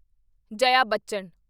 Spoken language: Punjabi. ਜਾਇਆ ਬੱਚਨ